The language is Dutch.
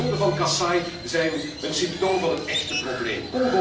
De doden van Kasaï zijn een symptoom van het echte probleem.